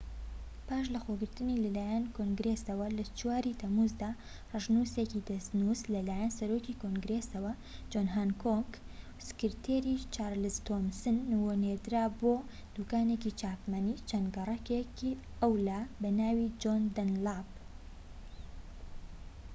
پاش لەخۆگرتنی لەلایەن کۆنگرێسەوە لە ٤ ی تەمووزدا، ڕەشنووسێکی دەستنووس لەلایەن سەرۆکی کۆنگرێەسەوە جۆن هانکۆک و سکرتێر چارلز تۆمسنەوە نێردرا بۆ دووکانێکی چاپەمەنی چەند گەڕەکێك ئەولا بەناوی جۆن دەنلاپ